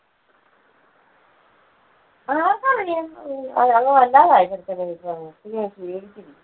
ആർക്കാണെടി അങ്ങ് വല്ലാതായി ചെറുക്കന് ഇപ്പൊ അങ്ങ്. വല്ലാതെ ക്ഷീണിച്ച് പോയി.